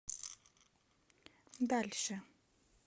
дальше